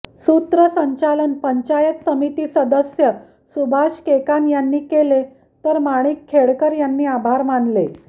सूत्रसंचालन पंचायत समिती सदस्य सुभाष केकान यांनी केले तर माणिक खेडकर यांनी आभार मानले